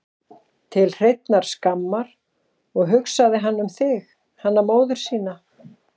Til hreinnar skammar, og hugsaði hann um þig, hana móður sína?